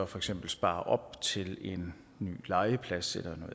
for eksempel sparer op til en ny legeplads